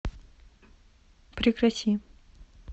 прекрати